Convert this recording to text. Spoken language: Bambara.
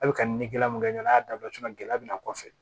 A bɛ ka ɲini gɛlɛya min kɛ ɲɔgɔnna a y'a dabila cogo min na gɛlɛya bɛ na kɔfɛ